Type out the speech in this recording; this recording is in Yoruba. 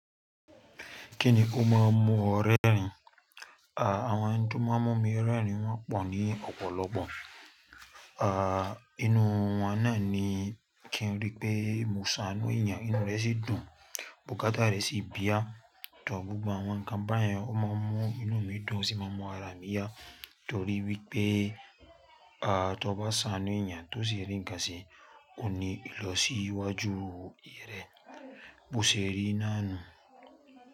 Kíni ó máa ń mu ọ rẹ́rìn? A Àwọn eni tó máa ń mú mi rẹ́rìn wọ́n pọ̀ ní ọ̀pọ̀lọpọ̀. À, inú wọn náà ni kí n rí pé mo ṣàánú eeyàn, inú rẹ sì dùn, bùkátà rẹ sì píá. Tọ́ gbogbo àwọn nǹkan báyẹn, ó máa ń mú inú mi dùn ó sì máa ń mú ara mi yá torí wípé, à, tó bá ṣàánú eeyàn tó sì rí ǹnkàn se, ko ní lọsíwájú ìrẹ̀, bo sì rí náànú.